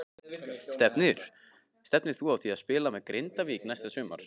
Stefnir þú að því að spila með Grindavík næsta sumar?